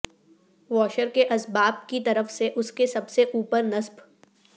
washer کے اسباب کی طرف سے اس کے سب سے اوپر نصب